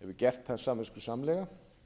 hefur gert það samviskusamlega